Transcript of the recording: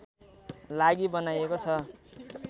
लागि बनाइएको छ